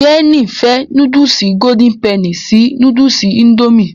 Jéènì fẹ́ núdùsì golden penny sí núdùsì indomie